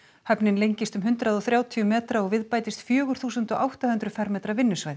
höfnin lengist um hundrað og þrjátíu metra og við bætist fjögur þúsund átta hundruð fermetra vinnusvæði